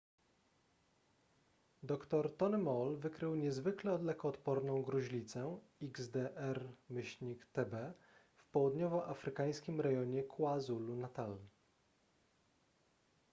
dr tony moll wykrył niezwykle lekoodporną gruźlicę xdr-tb w południowoafrykańskim rejonie kwazulu-natal